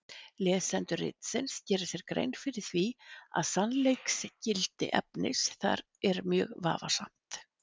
Lesendur ritsins gera sér grein fyrir því að sannleiksgildi efnis þar er mjög vafasamt.